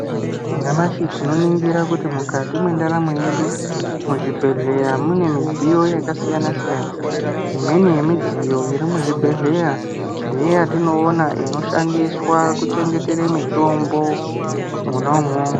Nyamashi tinoningira kuti mukati mwendaramo yedu muzvibhedhlera mune midziyo yakasiyana siyana. Imweni yemidziyo yatinoona muzvibhedhlera ndeiya inoshandiswa kuchengetere mitombo mwona umwomwo.